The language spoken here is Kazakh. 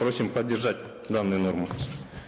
просим поддержать данную норму